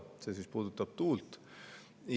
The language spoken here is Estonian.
See siis puudutab tuult.